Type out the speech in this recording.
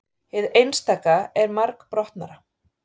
hið einstaka er margbrotnara